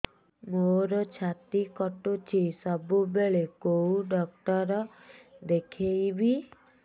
ମୋର ଛାତି କଟୁଛି ସବୁବେଳେ କୋଉ ଡକ୍ଟର ଦେଖେବି